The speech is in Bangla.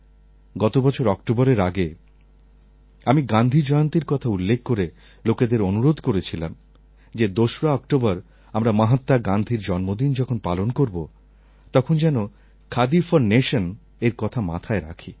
গত বছর অক্টোবরের আগে আমি গান্ধী জয়ন্তীর কথা উল্লেখ করে লোকেদের অনুরোধ করেছিলাম যে ২রা অক্টোবর আমরা মহাত্মা গান্ধীর জন্মদিন যখন পালন করব তখন যেন খাদি ফর নেশনএর কথা মাথায় রাখি